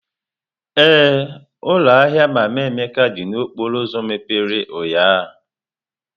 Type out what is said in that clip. Ee, ụlọ ahịa Mama Emeka dị n'okporo ụzọ mepere ụnyahụ.